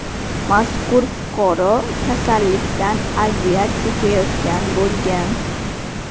Mazkur fuqaro kasallikdan aziyat chekayotgan bo‘lgan.